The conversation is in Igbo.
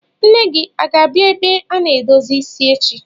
Nne gi a ga-abia ebe a na-edozi isi echi?